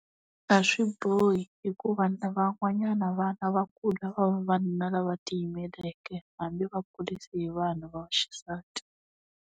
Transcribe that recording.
A swi bohi hikuva na van'wanyana vana va kula va va vavanuna lava tiyimeleke hambi vakurise hi vanhu va vaxisati.